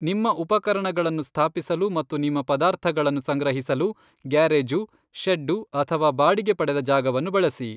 ನಿಮ್ಮ ಉಪಕರಣಗಳನ್ನು ಸ್ಥಾಪಿಸಲು ಮತ್ತು ನಿಮ್ಮ ಪದಾರ್ಥಗಳನ್ನು ಸಂಗ್ರಹಿಸಲು ಗ್ಯಾರೇಜು, ಷೆಡ್ಡು ಅಥವಾ ಬಾಡಿಗೆ ಪಡೆದ ಜಾಗವನ್ನು ಬಳಸಿ.